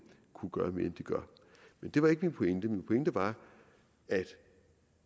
kunne gøre mere end de gør men det var ikke min pointe min pointe var at